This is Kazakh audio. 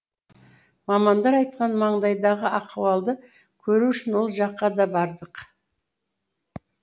мамандар айтқан маңайдағы ахуалды көру үшін ол жаққа да бардық